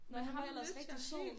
Nå han var ellers rigtig sød